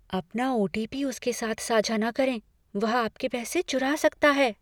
अपना O. T. P. उसके साथ साझा न करें। वह आपके पैसे चुरा सकता है।